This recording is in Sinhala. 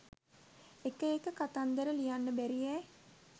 එක එක කතන්දර ලියන්න බැරියැ